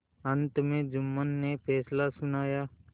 अंत में जुम्मन ने फैसला सुनाया